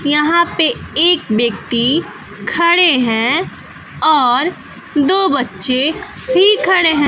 यहां पे एक व्यक्ति खड़े है और दो बच्चे भी खड़े है।